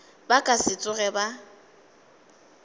ba ka se tsogego ba